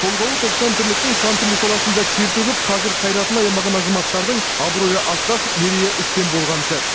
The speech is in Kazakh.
толғауы тоқсан тірліктің сан түрлі саласында тер төгіп қажыр қайратын аямаған азаматтардың абыройы асқақ мерейі үстем болған сәт